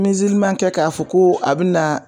Minziliman kɛ k'a fɔ ko a bi na